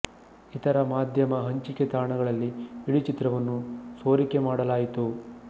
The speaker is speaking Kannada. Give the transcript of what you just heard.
ಇತರ ಮಾಧ್ಯಮ ಹಂಚಿಕೆ ತಾಣಗಳಲ್ಲಿ ಇಡೀ ಚಿತ್ರವನ್ನು ಸೋರಿಕೆ ಮಾಡಲಾಯಿತು